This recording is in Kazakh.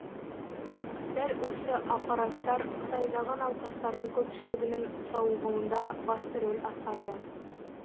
дәл осы аппараттар қытайдағы науқастардың көпшілігінің сауығуында басты рөл атқарды